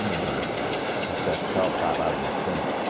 não valia nada, o café ficava parado em Santos.